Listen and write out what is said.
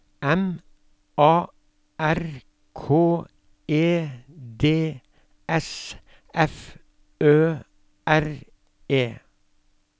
M A R K E D S F Ø R E